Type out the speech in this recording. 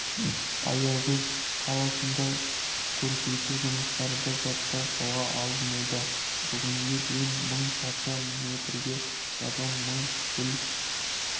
аягөз қаласында көркейту жұмыстары да жаппай қолға алынуда бүгінге дейін мың шаршы метрге газон мың гүл